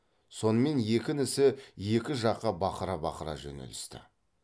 сонымен екі інісі екі жаққа бақыра бақыра жөнелісті